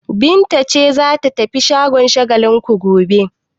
Binta ce za ta tafi shagon Shagalinku gobe?